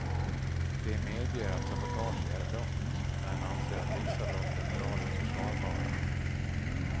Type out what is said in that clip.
De medger att sabotage är brott, men anser att vissa brott är moraliskt försvarbara.